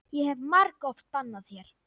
Ég hef margoft bannað þér.